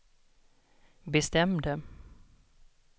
bestämde